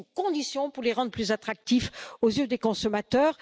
C'est une condition pour les rendre plus attractifs aux yeux des consommateurs.